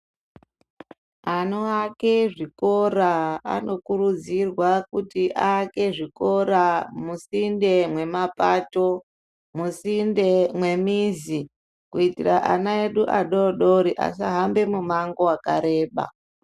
Anoake zvikora anokurudzirwa kuti aake zvikora musinde mwemapato, musinde mwemizi kuitira ana edu adoodori asahambe mumango wakareba.